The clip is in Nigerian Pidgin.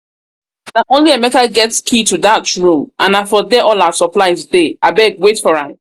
na only emeka get key to dat room and na for there all our supplies dey abeg wait for am